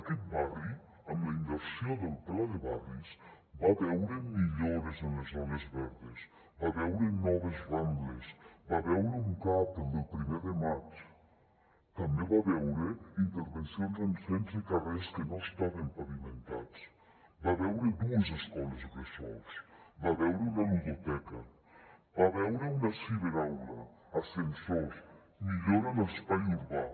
aquest barri amb la inversió del pla de barris va veure millores en les zones verdes va veure noves rambles va veure un cap el del primer de maig també va veure intervencions en setze carrers que no estaven pavimentats va veure dues escoles bressol va veure una ludoteca va veure una ciberaula ascensors millores en l’espai urbà